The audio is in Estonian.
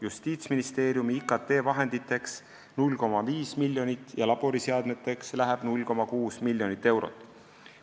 Justiitsministeeriumi IKT vahenditeks läheb 0,5 miljonit ja laboriseadmeteks 0,6 miljonit eurot.